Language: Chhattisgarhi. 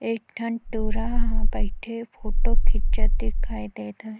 एक ठन टूरा हा बईथे हे फोटो खिचत दिखाई देत हवे।